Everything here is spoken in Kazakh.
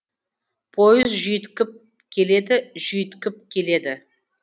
пойыз жүйткіп келеді жүйткіп келеді